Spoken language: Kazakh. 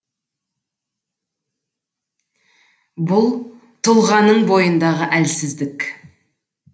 бұл тұлғаның бойындағы әлсіздік